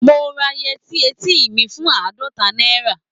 Mo ra yẹtí eti mi fún àádọ́ta náírà.